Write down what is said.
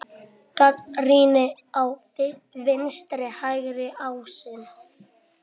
Gagnrýni á vinstri-hægri ásinn